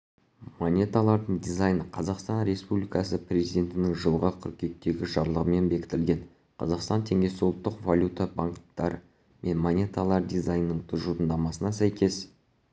монеталардың дизайны қазақстан республикасы президентінің жылғы қыркүйектегі жарлығымен бекітілген қазақстан теңгесі ұлттық валюта банкноттары мен монеталары дизайнының тұжырымдамасына сәйкес